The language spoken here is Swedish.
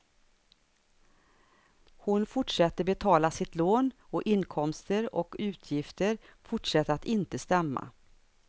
Hon fortsätter betala sitt lån och inkomster och utgifter fortsätter att inte stämma.